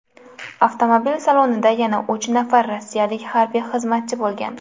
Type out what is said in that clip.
Avtomobil salonida yana uch nafar rossiyalik harbiy xizmatchi bo‘lgan.